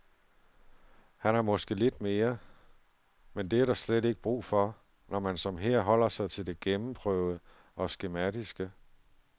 Han har måske lidt mere, men det er der slet ikke brug for, når man som her holder sig til det gennemprøvede og skematiske.